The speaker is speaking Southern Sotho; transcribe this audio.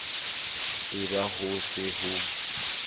e ba ho se ho